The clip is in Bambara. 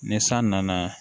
Ni san nana